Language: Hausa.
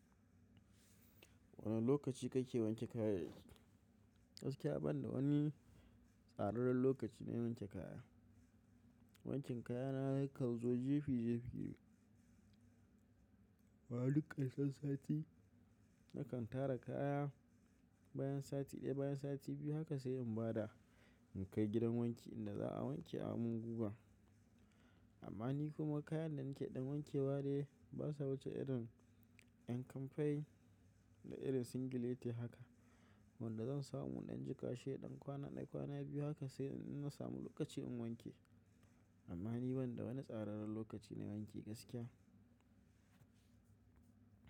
Wane lokaci kake wanke kaya? Gaskiya ban da wani tsararren lokaci na wanke kaya. Wankin kaya na kan zo jefi jefi. Amma duk ƙarshen sati nakan tara kaya bayan sati ɗaya, bayan sati biyu haka sai in bada in kai gidan wanki inda za a wanke a mun guga. Amma ni kuma kayan da nake ɗan wanke wa dai basa wuce irin ƴan kamfai da irin singilete haka. Wanda zan samu iɗan jikashi ya ɗan kwana da kwana biyu haka sai in na samu lokaci in wanke. Amma ni ban da wani tsararren lokaci na wanki gaskiya.